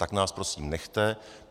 Tak nás prosím nechte.